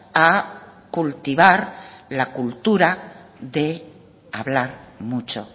a cultivar la cultura de hablar mucho